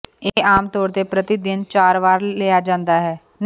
ਇਹ ਆਮ ਤੌਰ ਤੇ ਪ੍ਰਤੀ ਦਿਨ ਚਾਰ ਵਾਰ ਲਿਆ ਜਾਂਦਾ ਹੈ